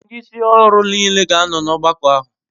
Ndi isi oru n'ile ga ano n'ogbako ahu